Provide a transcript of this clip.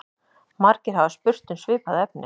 Margir hafa spurt um svipað efni.